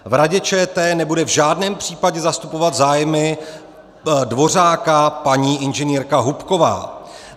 V Radě ČT nebude v žádném případě zastupovat zájmy Dvořáka paní inženýrka Hubková.